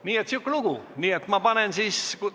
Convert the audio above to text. Nii et sihuke lugu!